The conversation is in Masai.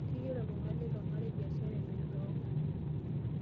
Keyiolo iltungana leilo marei biashara emirata oongarin.